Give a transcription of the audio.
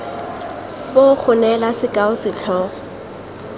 foo go neela sekao setlhogo